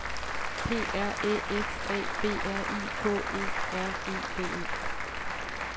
P R Æ F A B R I K E R E D E